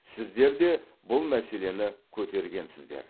сіздер де бұл мәселені көтергенсіздер